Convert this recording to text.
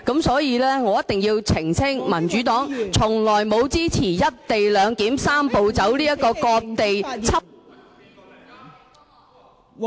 所以，我一定要澄清，民主黨從來沒有支持"一地兩檢""三步走"這個"割地"方案。